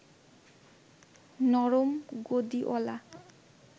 নরম গদিঅলা